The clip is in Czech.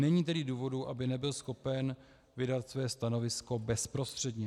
Není tedy důvodu, aby nebyl schopen vydat své stanovisko bezprostředně.